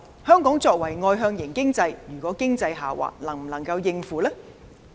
香港作為外向型的經濟體系，若經濟下滑，能否應付？